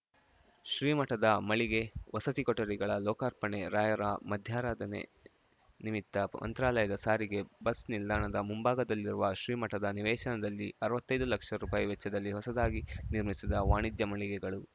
ಶ್ರೀಮಠದ ಮಳಿಗೆ ವಸತಿ ಕೊಠಡಿಗಳ ಲೋಕಾರ್ಪಣೆ ರಾಯರ ಮಧ್ಯಾರಾಧನೆ ನಿಮಿತ್ತ ಮಂತ್ರಾಲಯದ ಸಾರಿಗೆ ಬಸ್‌ ನಿಲ್ದಾಣದ ಮುಂಭಾಗದಲ್ಲಿರುವ ಶ್ರೀಮಠದ ನಿವೇಶನದಲ್ಲಿ ಅರ್ವತ್ತೈದು ಲಕ್ಷ ರುಪಾಯಿ ವೆಚ್ಚದಲ್ಲಿ ಹೊಸದಾಗಿ ನಿರ್ಮಿಸಿದ ವಾಣಿಜ್ಯ ಮಳಿಗೆಗಳು